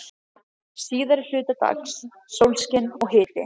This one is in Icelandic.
Síðari hluta dags sólskin og hiti.